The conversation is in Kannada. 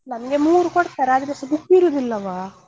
ನಮ್ಗೆ ಮೂರು ಕೊಡ್ತಾರೆ ಅದ್ರೆಸ book ಇರುದಿಲ್ಲವ.